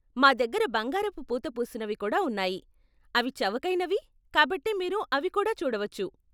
మా దగ్గర బంగారపు పూత పూసినవి కూడా ఉన్నాయి, అవి చవకైనవి, కాబట్టి మీరు అవి కూడా చూడవచ్చు.